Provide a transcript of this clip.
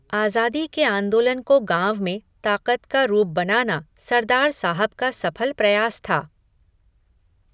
आज़ादी के आंदोलन को गाँव में ताक़त का रूप बनाना सरदार साहब का सफल प्रयास था।